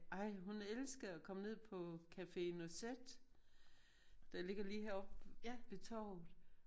Ej hun elsker at komme ned på Café Noisette der ligger lige her opppe ved torvet